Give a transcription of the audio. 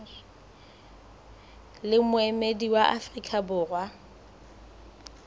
le moemedi wa afrika borwa